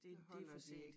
Så holder de ik